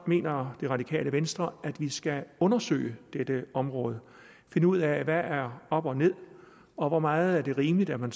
mener det radikale venstre at vi skal undersøge dette område og finde ud af hvad der er op og ned og hvor meget det er rimeligt at man